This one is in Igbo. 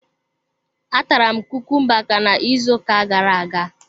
A tara m kukumba ka na ịzụ ụka gara-aga.